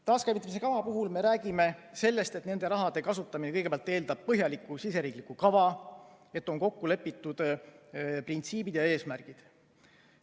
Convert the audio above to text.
Taaskäivitamise kava puhul me räägime sellest, et selle raha kasutamine eeldab kõigepealt põhjalikku siseriikliku kava, milles on kokku lepitud printsiibid ja eesmärgid.